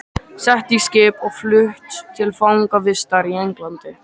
Sett í skip og flutt til fangavistar í Englandi!